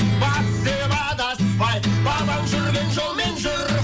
батыс деп адаспай бабаң жүрген жолмен жүр